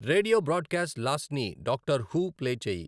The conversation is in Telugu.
రేడియొ బ్రాడ్కాస్ట్ లాస్ట్ని డాక్టర్ హూ ప్లే చేయి.